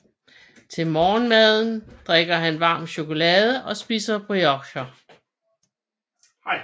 Til morgenmaden drikker han varm chokolade og spiser briocher